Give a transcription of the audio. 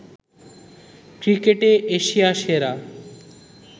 ক্রিকেটে এশিয়া সেরা